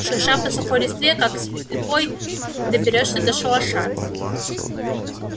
шурша по сухой листве как слепой доберёшься до шалаша